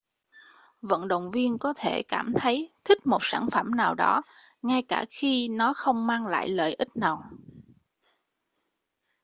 vận động viên có thể cảm thấy thích một sản phẩm nào đó ngay cả khi nó không mang lại lợi ích nào